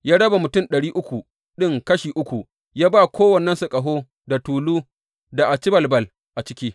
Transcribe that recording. Ya raba mutum ɗari uku ɗin kashi uku, ya ba kowannensu ƙaho da tulu da acibalbal a ciki.